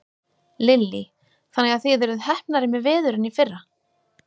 Lillý: Þannig að þið eruð heppnari með veður en í fyrra?